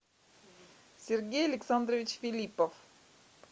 сергей александрович филиппов